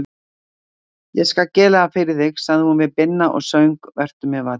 Ég skal gera það fyrir þig, sagði hún við Binna og söng Vertu mér vænn.